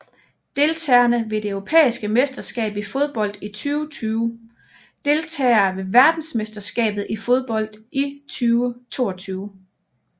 Deltagere ved det europæiske mesterskab i fodbold 2020 Deltagere ved verdensmesterskabet i fodbold 2022